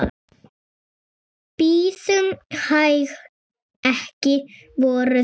Bíðum hæg. ekki voru þetta?